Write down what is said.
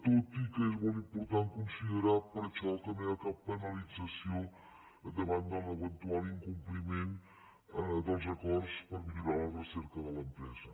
tot i que és molt important considerar per això que no hi ha cap penalització davant de l’eventual incompliment dels acords per millorar la recerca de l’empresa